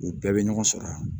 U bɛɛ bɛ ɲɔgɔn sɔrɔ yan